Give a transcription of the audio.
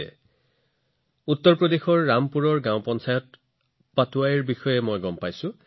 মই উত্তৰ প্ৰদেশৰ ৰামপুৰৰ গ্ৰাম পঞ্চায়ত পাটৱাইৰ বিষয়ে তথ্য লাভ কৰিছো